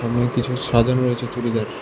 কিছু সাজানো রয়েছে চুড়িদার।